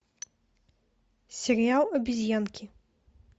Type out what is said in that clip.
сериал обезьянки